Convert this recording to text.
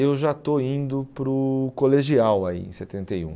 Eu já estou indo para o colegial aí, em setenta e um.